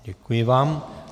Děkuji vám.